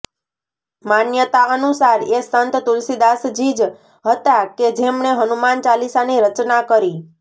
માન્યતા અનુસાર એ સંત તુલસીદાસજી જ હતા કે જેમણે હનુમાન ચાલીસાની રચના કરી